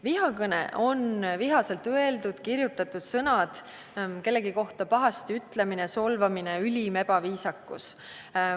Vihakõne on vihaselt öeldud või kirjutatud sõnad, kellegi kohta pahasti ütlemine, solvamine, ülim ebaviisakus.